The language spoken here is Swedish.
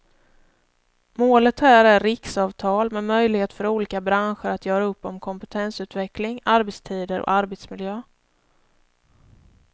Målet här är riksavtal med möjlighet för olika branscher att göra upp om kompetensutveckling, arbetstider och arbetsmiljö.